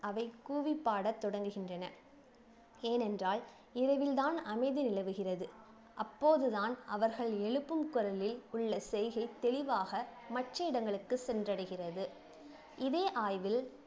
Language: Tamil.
அவை கூவி பாட தொடங்குகின்றன ஏனென்றால் இரவில்தான் அமைதி நிலவுகிறது அப்போதுதான் அவர்கள் எழுப்பும் குரலில் உள்ள செய்கை தெளிவாக மற்ற இடங்களுக்கு சென்றடைகிறது இதே ஆய்வில்